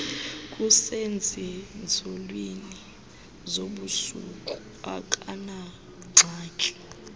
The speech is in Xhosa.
kusezinzulwini zobusuku akanangxaki